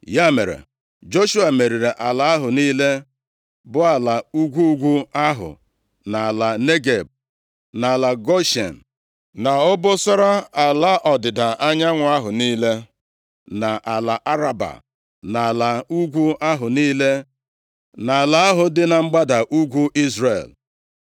Ya mere, Joshua meriri ala ahụ niile, bụ ala ugwu ugwu ahụ, na ala Negeb, na ala Goshen, na obosara ala ọdịda anyanwụ ahụ niile, na ala Araba, na ala ugwu ahụ niile, na ala ahụ dị na mgbada ugwu Izrel.